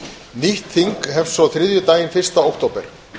nýtt þing hefst svo þriðjudaginn fyrsta október